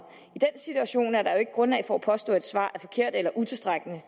i den situation er der jo ikke grundlag for at påstå at et svar er forkert eller utilstrækkeligt